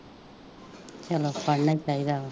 ਚਲੋ ਪੜ੍ਹਨਾ ਹੀ ਚਾਹੀਦਾ ਵਾ